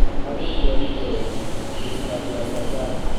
Harĩ gũtũarithia ũrĩmi, thirikari ya Tanzania